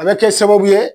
A bɛ kɛ sababu ye